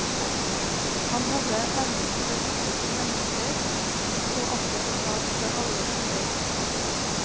Han hadde evnen til å lytte til mennesker, og så alltid en sak fra alle sider.